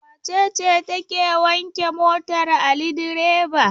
Wace ce take wanke motar Ali direba?